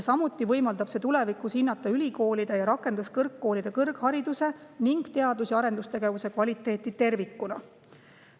Samuti võimaldab see tulevikus hinnata ülikoolide ja rakenduskõrgkoolide kõrghariduse ning teadus‑ ja arendustegevuse kvaliteeti tervikuna.